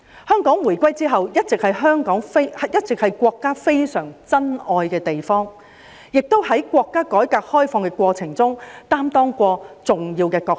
香港回歸之後，一直是國家非常珍愛的地方，亦在國家改革開放的過程中擔當過重要的角色。